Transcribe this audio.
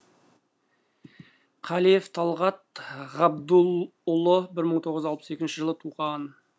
қалиев талғат ғабдулұлы бір мың тоғыз жүз алпыс екінші жылы туған